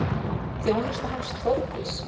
Þjónusta hans, Þórdís